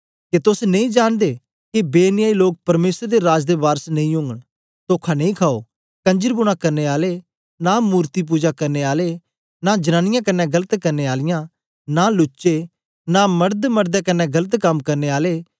के तोस नेई जांनदे के बेन्यायी लोक परमेसर दे राज दे वारस नेई ओगन तोखा नेई खाओ कंजरवूना करने आलें नां मूर्ति पुजा करने आलें नां जनांनीयां कन्ने गलत करने आलियां नां लुच्चे नां मर्द मडदें कन्ने गलत कम करने आले